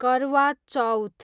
करवा चौथ